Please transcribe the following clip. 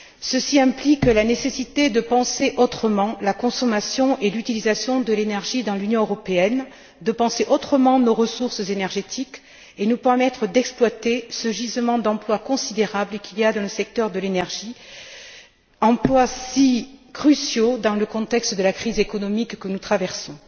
Ceci implique la nécessité de penser autrement la consommation et l'utilisation de l'énergie dans l'Union européenne, de penser autrement nos ressources énergétiques et de nous permettre d'exploiter ce gisement d'emplois considérable qu'il y a dans le secteur de l'énergie, emplois si cruciaux dans le contexte de la crise économique que nous traversons.